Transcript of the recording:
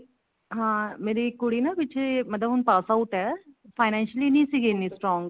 ਹਾਂ ਮੇਰੀ ਕੁੜੀ ਨਾ ਪਿੱਛੇ ਮਤਲਬ ਹੁਣ pass out ਹੈ clinical ਨਹੀਂ ਸੀਗੇ ਇੰਨੇ strong